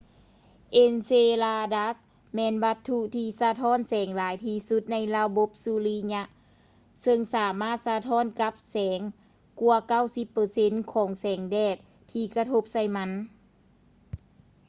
ເອັນເຊລາດັດສ໌ enceladus ແມ່ນວັດຖຸທີ່ສະທ້ອນແສງຫຼາຍທີ່ສຸດໃນລະບົບສຸລິຍະ ເຊິ່ງສາມາດສະທ້ອນກັບແສງກວ່າ 90 ເປີເຊັນຂອງແສງແດດທີ່ກະທົບໃສ່ມັນ